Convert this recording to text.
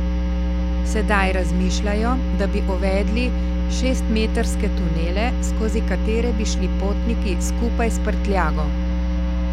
Sedaj razmišljajo, da bi uvedli šestmetrske tunele, skozi katere bi šli potniki skupaj s prtljago.